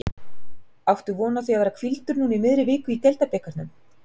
Áttu von á því að vera hvíldur núna í miðri viku í deildabikarnum?